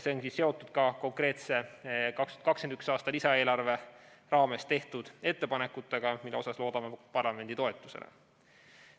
See on seotud ka konkreetselt 2021. aasta lisaeelarve raames tehtud ettepanekutega, mille puhul loodan parlamendi toetusele.